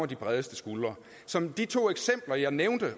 de bredeste skuldre som de to eksempler jeg nævnte